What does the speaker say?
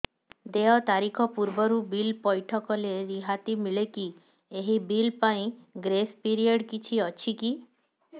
ଦେୟ ତାରିଖ ପୂର୍ବରୁ ବିଲ୍ ପୈଠ କଲେ ରିହାତି ମିଲେକି ଏହି ବିଲ୍ ପାଇଁ ଗ୍ରେସ୍ ପିରିୟଡ଼ କିଛି ଅଛିକି